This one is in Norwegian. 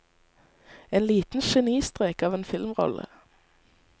En liten genistrek av en filmrolle.